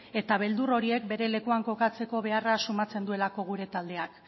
eta beldur horiek bere lekuan kokatzeko beharra sumatzen duelako gure taldeak